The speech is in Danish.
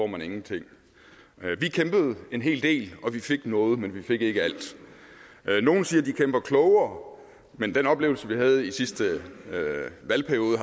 man ingenting vi kæmpede en hel del og vi fik noget men vi fik ikke alt nogle siger at de kæmper klogere men den oplevelse vi havde i sidste valgperiode